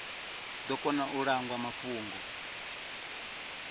ḓo kona u langwa mafhungo